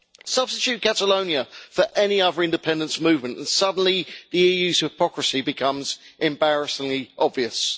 Substitute Catalonia for any other independence movement and suddenly the EU's hypocrisy becomes embarrassingly obvious.